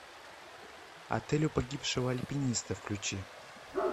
отель у погибшего альпиниста включи